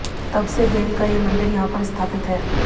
तब से देवी का ये मंदिर यहां पर स्थापपित है